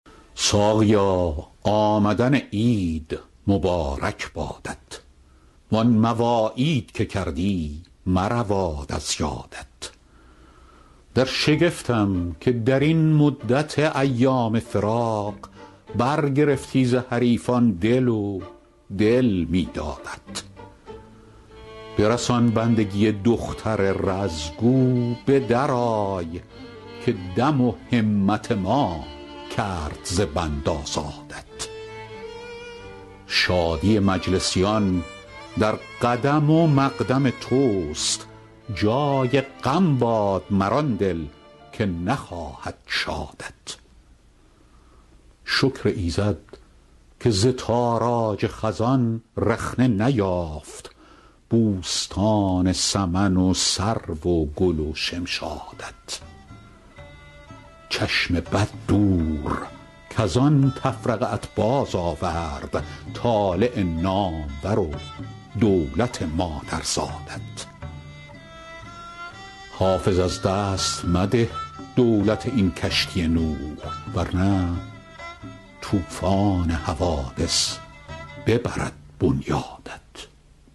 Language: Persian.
ساقیا آمدن عید مبارک بادت وان مواعید که کردی مرود از یادت در شگفتم که در این مدت ایام فراق برگرفتی ز حریفان دل و دل می دادت برسان بندگی دختر رز گو به درآی که دم و همت ما کرد ز بند آزادت شادی مجلسیان در قدم و مقدم توست جای غم باد مر آن دل که نخواهد شادت شکر ایزد که ز تاراج خزان رخنه نیافت بوستان سمن و سرو و گل و شمشادت چشم بد دور کز آن تفرقه ات بازآورد طالع نامور و دولت مادرزادت حافظ از دست مده دولت این کشتی نوح ور نه طوفان حوادث ببرد بنیادت